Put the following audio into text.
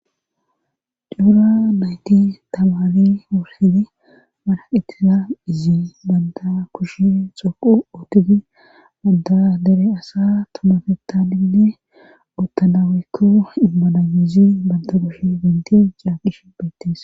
Duura nayti tamani wurhedi manaqitira izi banda kushe xoqu ootiti adda dere asa tumafetadinne ottanawekko immananizi banta kushe denti caaqish beettees.